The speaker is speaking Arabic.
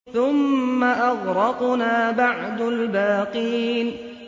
ثُمَّ أَغْرَقْنَا بَعْدُ الْبَاقِينَ